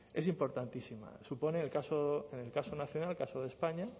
es importantísima supone en el caso nacional en el caso de españa